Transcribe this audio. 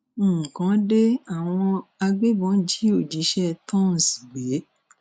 nǹkan de àwọn agbébọn jí òṣìṣẹ tonce gbé